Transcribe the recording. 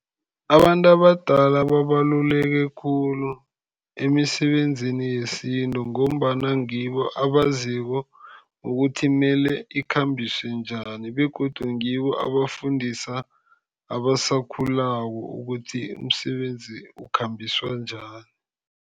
Abantu abadala babaluleke khulu emisebenzini yesintu, ngombana ngibo abaziko ukuthi mele ikhambiswe njani, begodu ngibo abafundisa abasakhulako ukuthi umsebenzi ukukhambiswa njani.